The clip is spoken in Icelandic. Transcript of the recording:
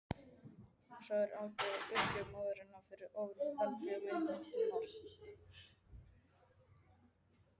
Svo algjör var uppgjöf móðurinnar fyrir ofurveldi vináttunnar.